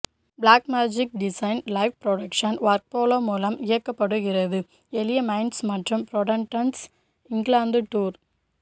Blackmagic design live production workflow மூலம் இயக்கப்படுகிறது எளிய மைண்ட்ஸ் மற்றும் ப்ரெண்டெண்டர்ஸ் இங்கிலாந்து டூர்